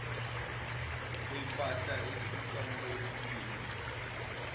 kwempahla ethuthwa ngendiza